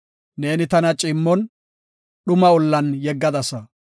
Neeni tana ciimmon, dhuma ollan yeggadasa.